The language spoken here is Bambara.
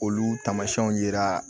Olu tamasiɛnw yira